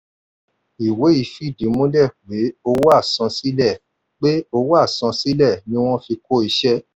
ìwé yìí fìdí múlẹ̀ pé owó àsansílẹ̀ pé owó àsansílẹ̀ ni wọ́n ti fi kó iṣẹ́.